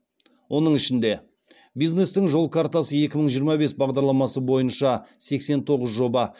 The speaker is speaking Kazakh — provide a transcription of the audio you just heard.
оның ішінде бизнестің жол картасы екі мың жиырма бес бағдарламасы бойынша сексен тоғыз жоба